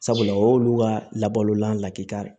Sabula o y'olu ka labalolan lakika ye